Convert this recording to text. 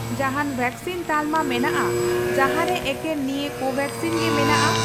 ᱡᱟᱦᱟᱱ ᱣᱮᱠᱥᱤᱱ ᱛᱟᱞᱢᱟ ᱢᱮᱱᱟᱜᱼᱟ ᱡᱟᱦᱟᱸ ᱨᱮ ᱮᱠᱮᱱ ᱱᱤᱭᱟᱹ ᱠᱳᱵᱷᱮᱠᱥᱤᱱ ᱜᱮ ᱢᱮᱱᱟᱜᱼᱟ ?